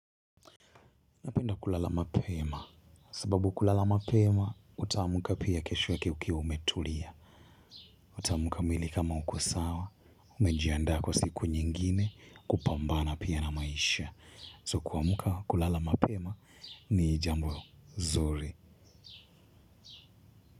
Napenda kulala mapema. Sababu kulala mapema, utaamka pia kesho yake ukiwa umetulia. Utaamka mwili kama uko sawa. Umejianda kwa siku nyingine kupambana pia na maisha. So kuamka, kulala mapema ni jambo zuri.